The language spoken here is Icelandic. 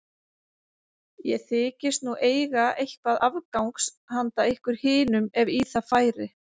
Ég þykist nú eiga eitthvað afgangs hana ykkur hinum ef í það færi.